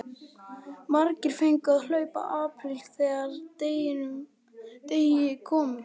Margir fengu að hlaupa apríl þegar að þeim degi kom.